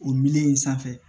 O miliyɔn in sanfɛ